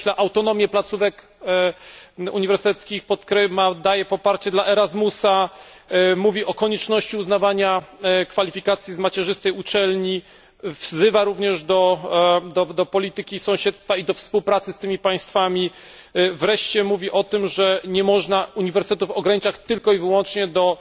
podkreśla autonomię placówek uniwersyteckich, daje poparcie dla ERASMUSA, mówi o konieczności uznawania kwalifikacji z macierzystej uczelni, wzywa również do prowadzenia polityki sąsiedztwa i do współpracy z tymi państwami, wreszcie mówi o tym, że nie można uniwersytetów ograniczać tylko i wyłącznie do